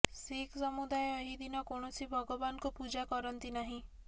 ଶିଖ୍ ସମୁଦାୟ ଏହି ଦିନ କୌଣସି ଭଗବାନଙ୍କୁ ପୂଜା କରନ୍ତି ନାହିଁ